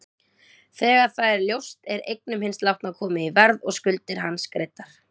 Þegar það er ljóst er eignum hins látna komið í verð og skuldir hans greiddar.